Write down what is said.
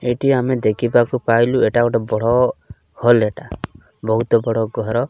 ଏଠି ଆମେ ଦେଖିବାକୁ ପାଇଲୁ ଏଟା ଗୋଟେ ବଡ଼ ହଲ ଏଟା ବହୁତ୍ ବଡ ଘର --